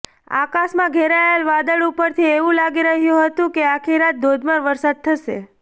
આકાશમાં ઘેરાયેલા વાદળા ઉપરથી એવુ લાગી રહ્યું હતું કે આખી રાત ધોધમાર વરસાદ થશે